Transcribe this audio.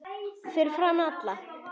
Fyrir framan alla?